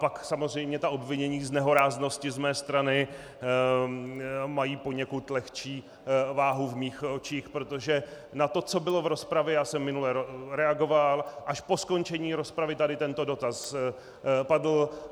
Pak samozřejmě ta obvinění z nehoráznosti z mé strany mají poněkud lehčí váhu v mých očích, protože na to, co bylo v rozpravě, já jsem minule reagoval, až po skončení rozpravy tady tento dotaz padl.